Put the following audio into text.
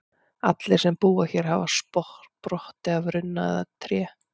Allir sem búa hér hafa sprottið af runna eða tré.